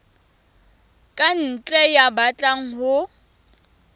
ka ntle ya batlang ho